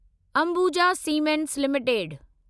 Ambuja cement limited